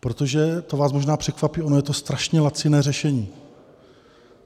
Protože - to vás možná překvapí - ono je to strašně laciné řešení.